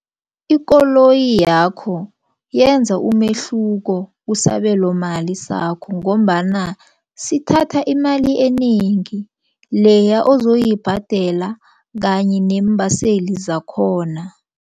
Ikoloyi yakho yenza umehluko kusabelo mali sakho. Ngombana sithatha imali enengi leya ozoyibhadela kanye neembaseli zakhona.